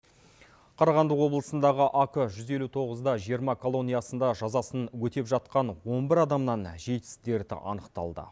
қарағанды облысындағы ак жүз елу тоғыз да жиырма колониясында жазасын өтеп жатқан он бір адамнан житс дерті анықталды